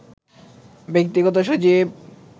ব্যক্তিগত সচিব